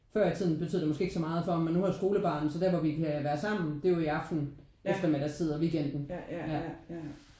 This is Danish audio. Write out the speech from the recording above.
For i tiden betød det måske ikke så meget for mig men nu har jeg et skolebarn så der hvor vi kan være sammen det er jo i aften eftermidagstid og weekenden ja